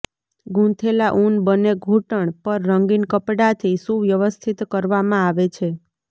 ગૂંથેલા ઉન બને ઘૂંટણ પણ રંગીન કપડાથી સુવ્યવસ્થિત કરવામાં આવે છે